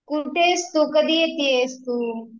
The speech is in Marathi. कुठायस तू, कधी येतेयस तू?